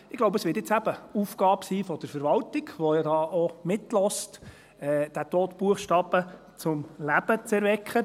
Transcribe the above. Ich glaube, es wird jetzt eben Aufgabe sein der Verwaltung, die hier ja auch mithört, diesen toten Buchstaben zum Leben zu erwecken.